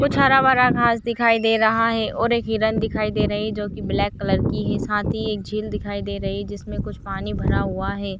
कुछ हरा-भरा घाँस दिखाई दे रहा है और एक हिरण दिखाई दे रही है जो की ब्लैक कलर की ही साथ ही एक झील दिखाई दे रही है जिसमे कुछ पानी भरा हुआ है।